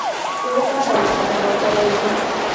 Hurũka ndagĩka mĩrongo ĩrĩ